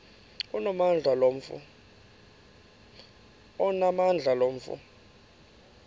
onamandla lo mfo